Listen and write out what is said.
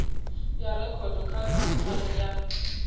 ya rekhodo kha khamphani ya